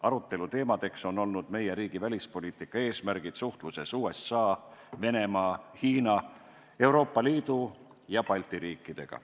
Arutelu teemadeks on olnud meie riigi välispoliitika eesmärgid suhtluses USA, Venemaa, Hiina, Euroopa Liidu ja Balti riikidega.